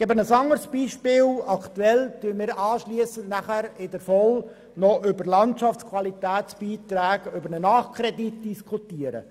Ein anderes Beispiel: Anschliessend werden wir bei den VOL-Geschäften über einen Nachkredit für Landschaftsqualitätsbeiträge beschliessen.